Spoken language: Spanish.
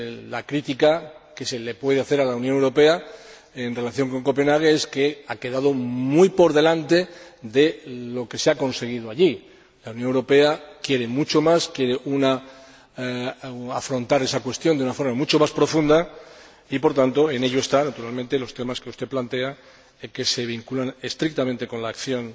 La crítica que se le puede hacer a la Unión Europea, en relación con Copenhague, es que ha quedado muy por delante de lo que se ha conseguido allí. La Unión Europea quiere afrontar esa cuestión de una forma mucho más profunda y por tanto en ello está, naturalmente los temas que usted plantea, que se vinculan estrictamente con la acción